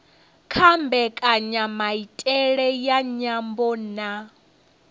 kha mbekanyamaitele ya nyambo na